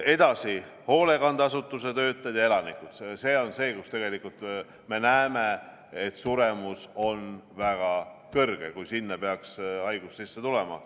Edasi tulevad hoolekandeasutuse töötajad ja sealsed elanikud – see on see, kus me näeme, et suremus on väga kõrge, kui sinna peaks haigus sisse tulema.